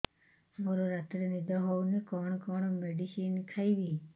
ମୋର ରାତିରେ ନିଦ ହଉନି କଣ କଣ ମେଡିସିନ ଖାଇବି